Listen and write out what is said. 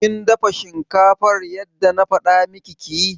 Kin dafa shinkafar yadda na faɗa miki ki yi?